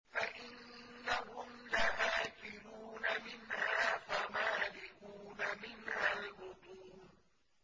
فَإِنَّهُمْ لَآكِلُونَ مِنْهَا فَمَالِئُونَ مِنْهَا الْبُطُونَ